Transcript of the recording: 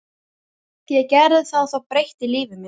Ég gerði það og það breytti lífi mínu.